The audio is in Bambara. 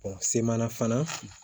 semana fana